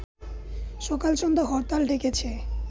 সকাল-সন্ধ্যা হরতাল ডেকেছে